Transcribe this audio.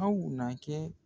Aw na kɛ